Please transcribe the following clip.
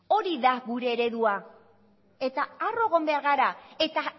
hori da gure eredua eta harro egon behar gara eta